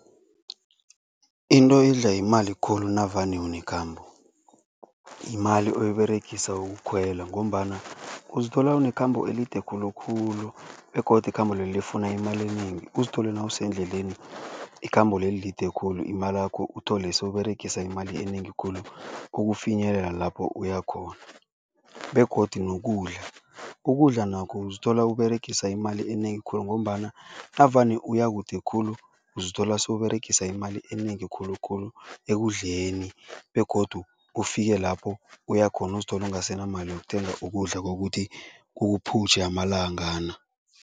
Into edla yimali khulu navane unekhambo yimali oyiberegisa ukukhwela ngombana uzithola unekhambo elide khulukhulu begodu ikhambo lelo lifuna imali enengi, uzithole nawusendleleni ikhambo leli lide khulu imalakho uthole sewuberegisa imali enengi khulu ukufinyelela lapho uya khona begodu nokudla. Ukudla nakho uzithola uberegisa imali enengi khulu ngombana navane uya kude khulu, uzithole sewuberegisa imali enengi khulukhulu ekudleni begodu ufike lapho uya khona, uzithole ungasenamali yokuthenga ukudla kokuthi kukuphutjhe amalangana.